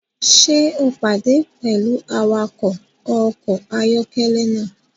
Ṣe o pade pẹlu awakọ ọkọ ayọkẹlẹ naa?